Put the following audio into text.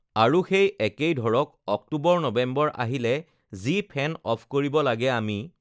আৰু সেই একেই ধৰক অক্টোবৰ-নৱেম্বৰ আহিলে যি ফেন অফ কৰিব লাগে আমি